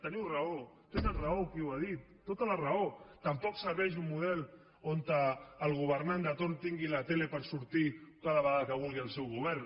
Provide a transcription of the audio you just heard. teniu raó té raó qui ho ha dit tota la raó tampoc serveix un model on el governant de torn tingui la tele per sortir cada vegada que vulgui el seu govern